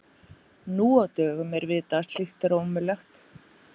Nú á dögum er vitað að slíkt er ómögulegt.